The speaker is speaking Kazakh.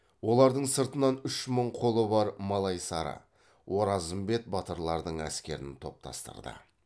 олардың сыртынан үш мың қолы бар малайсары оразымбет батырлардың әскерін топтастырды